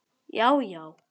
Já já.